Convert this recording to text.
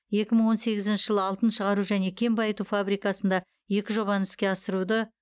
екі мың он сегізінші жылы алтын шығару және кен байыту фабрикасында екі жобаны іске асыруды